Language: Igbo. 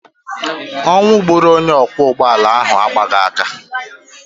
Ọnwụ gburu onye ọkwọ ụgbọala ahụ agbaghị aka.